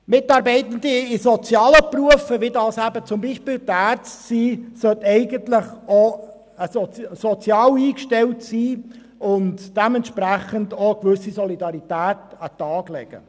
Mitarbeitende in sozialen Berufen, wie beispielsweise Ärzte, sollten auch sozial eingestellt sein und dementsprechend eine gewisse Solidarität an den Tag legen.